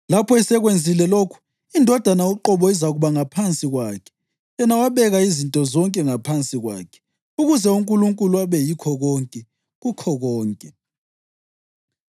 Lapho esekwenzile lokhu, iNdodana uqobo izakuba ngaphansi kwakhe yena owabeka izinto zonke ngaphansi kwakhe, ukuze uNkulunkulu abe yikho konke, kukho konke.